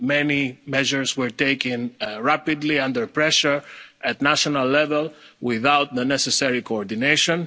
coordination. Many measures were taken rapidly under pressure at national level without the necessary